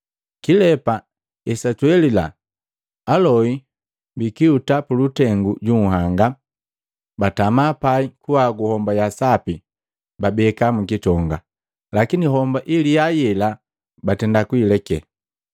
Kilepa esatwelila, aloi buguhuti mulutengu ju unhanga, batama pai, kuhagu homba ya sapi babeka mukitonga, lakini homba iliya yela batenda kuleke.